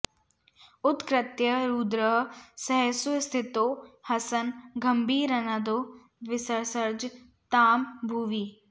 उत्कृत्य रुद्रः सहसोत्थितो हसन् गम्भीरनादो विससर्ज तां भुवि